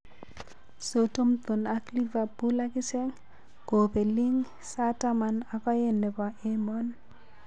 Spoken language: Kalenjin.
Southmton ak Liverpool akichek kopeling' sa taman ak aen nepo emoon